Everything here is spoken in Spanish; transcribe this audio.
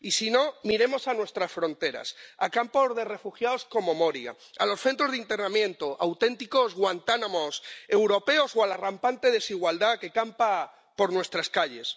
Y, si no, miremos a nuestras fronteras, a campos de refugiados como Moria, a los centros de internamiento ⸻auténticos Guantánamos europeos⸻, o a la rampante desigualdad que campa por nuestras calles.